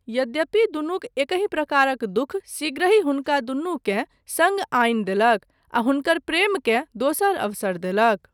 यद्यपि, दुनूक एकहि प्रकारक दुःख शीघ्रहि हुनका दुनुकेँ सङ्ग आनि देलक आ हुनकर प्रेमकेँ दोसर अवसर देलक।